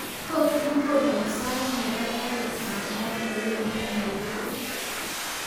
Tot ikonon sait nebo garit ab maat newendi nairobi